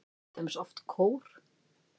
Til dæmis oft kór.